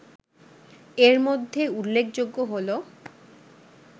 এর মধ্যে উল্লেখযোগ্য হলো